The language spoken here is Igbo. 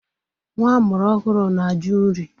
Nwa amụrụ ọhụrụ na-ajụ nri.